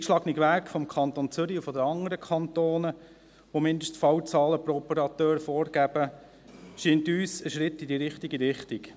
Der vom Kanton Zürich und den anderen Kantonen eingeschlagene Weg, welche die Fallzahlen pro Operateur vorgeben, scheint uns ein Schritt in die richtige Richtung.